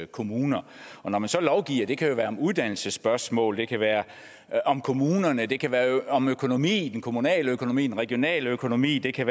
kommuner og når man lovgiver det kan være uddannelsesspørgsmål det kan være om kommunerne det kan være om økonomi den kommunale økonomi den regionale økonomi det kan